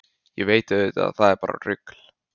Ég veit auðvitað að það er bara rugl.